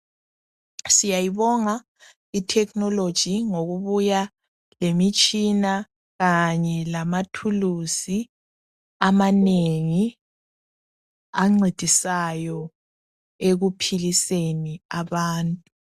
Siyayibonga itechnology ngokubuya lemitshina kanye lamathuluzi amanengi ancedisayo ekuphiliseni abantu.